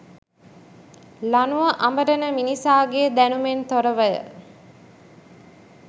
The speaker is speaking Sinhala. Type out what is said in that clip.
ලණුව අඹරන මිනිසාගේ දැනුමෙන් තොරවය.